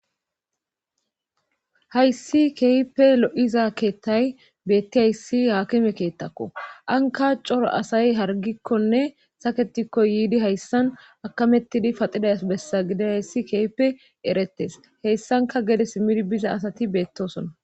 hayssi keyipe lo7iza keettay beetti hayssi haakime keettakko anka coro asay hargikkonne saketikko yiidi hayssan akamettidi paxiday bessa gide hayssi keype eretes heyssanka gede simid biza asati beettosona